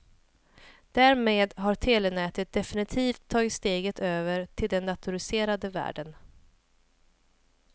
Därmed har telenätet definitivt tagit steget över till den datoriserade världen.